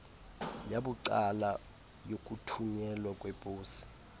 yabucala yokuthunyelwa kweposi